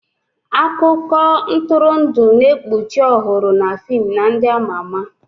Akụkọ ntụrụndụ na-ekpuchi ọhụrụ na fim na ndị ama ama.